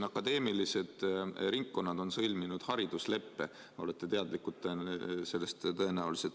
Akadeemilised ringkonnad on sõlminud haridusleppe, olete sellest tõenäoliselt teadlik.